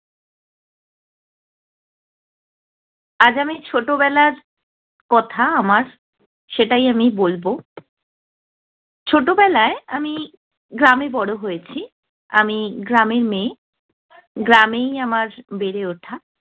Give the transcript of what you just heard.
আজ আমি ছোটবেলার কথা আমার, সেটাই আমি বলব। ছোটবেলায় আমি গ্রামে বড় হয়েছি। আমি গ্রামের মেয়ে। গ্রামেই আমার বেড়ে ওঠা।